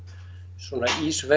svona